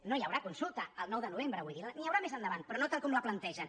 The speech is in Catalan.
no hi ha haurà consulta el nou de novembre vull dir n’hi haurà més endavant però no tal com la plantegen